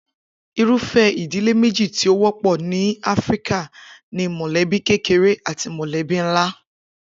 Irúfé̩ ìdílé méjì tí ó wó̩pò̩ ni Áfíríkà ni mò̩lébí kékeré àti mò̩lé́bí ńlá